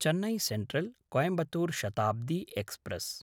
Chennai सेन्ट्रल्–कोयंबत्तूर् Shatabdi express